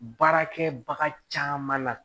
Baarakɛbaga caman na